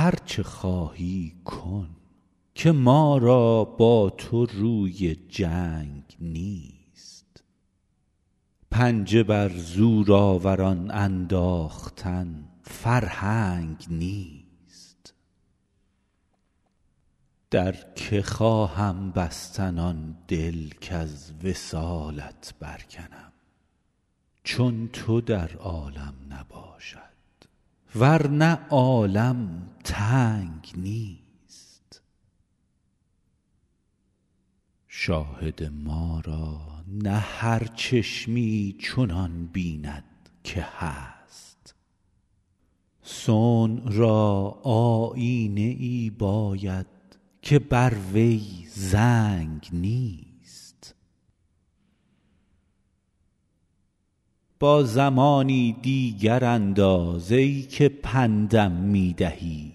هر چه خواهی کن که ما را با تو روی جنگ نیست پنجه بر زورآوران انداختن فرهنگ نیست در که خواهم بستن آن دل کز وصالت برکنم چون تو در عالم نباشد ور نه عالم تنگ نیست شاهد ما را نه هر چشمی چنان بیند که هست صنع را آیینه ای باید که بر وی زنگ نیست با زمانی دیگر انداز ای که پند م می دهی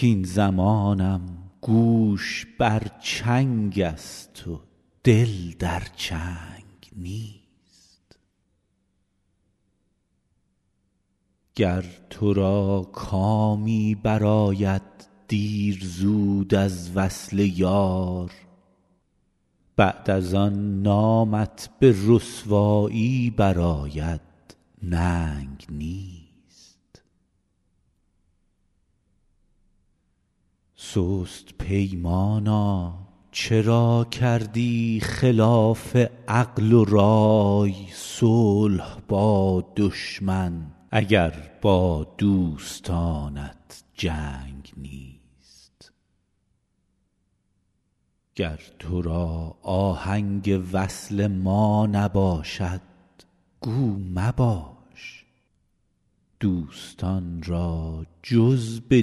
کاین زمانم گوش بر چنگ است و دل در چنگ نیست گر تو را کامی برآید دیر زود از وصل یار بعد از آن نامت به رسوایی برآید ننگ نیست سست پیمانا چرا کردی خلاف عقل و رای صلح با دشمن اگر با دوستانت جنگ نیست گر تو را آهنگ وصل ما نباشد گو مباش دوستان را جز به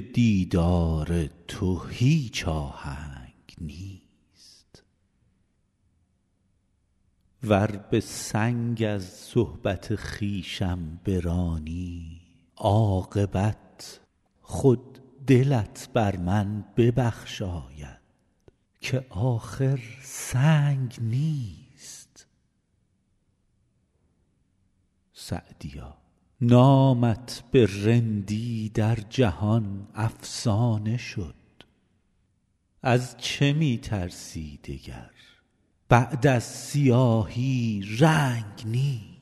دیدار تو هیچ آهنگ نیست ور به سنگ از صحبت خویشم برانی عاقبت خود دلت بر من ببخشاید که آخر سنگ نیست سعدیا نامت به رندی در جهان افسانه شد از چه می ترسی دگر بعد از سیاهی رنگ نیست